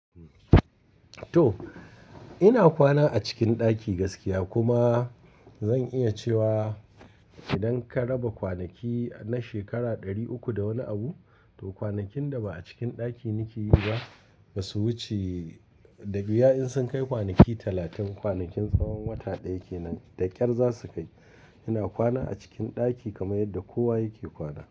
To ina kwana a cikin ɗaki gaskiya kuma zan iya cewa idan ka raba kwanaki na shekara ɗari uku da wani abu, to kwanakin da ba a cikin ɗaki nike yi ba ba su wuce da wiya in sun kai kwanaki talatin. Kwanakin tsawon wata ɗaya kenan da ƙyar za su kai. Ina kwana a cikin ɗaki kamar yadda kowa yake kwana.